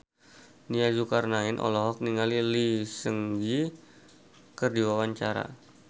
Nia Zulkarnaen olohok ningali Lee Seung Gi keur diwawancara